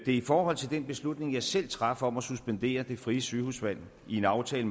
i forhold til den beslutning jeg selv traf om at suspendere det frie sygehusvalg i en aftale